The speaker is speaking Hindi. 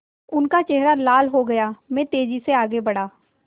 उनका चेहरा लाल हो गया मैं तेज़ी से आगे बढ़ा